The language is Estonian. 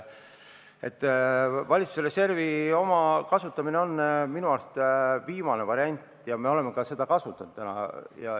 Valitsuse reservi kasutamine on minu arust viimane variant ja me oleme seda täna kasutanud.